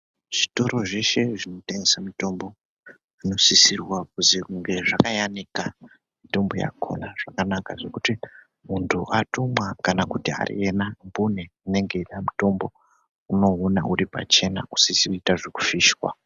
Zvitoro zveshe zvinotengesa mitombo zvinosisirwa kuzi kunge zvakayanika mitombo yakona zvakanaka zvekuti muntu atumwa kana kuti ariyena mbune unode mutombo unouona uripachena isizi kuitwa zvekufishwa.